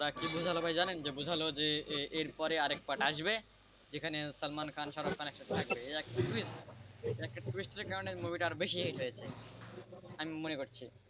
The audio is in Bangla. ওরা কি বোঝালো ভাই জানেন? বোঝালো যে এরপরে আরেক part আসবেযেখানে সালমান খান শাহরুখ খান একসাথে থাকবেএকটা টুইস্টের কারণে মুভিটা আরো বেশি হিট হয়েছে আমি মনে করছি,